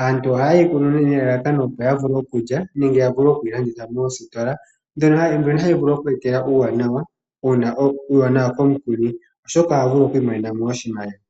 Aantu oha yeyi kunu nelalakano opo yavule okulya nenge yavule okuyi landitha moositola mbyono hayi vulu oku eta uuwanawa komukuni oshoka ohavulu oku imonenamo oshimaliwa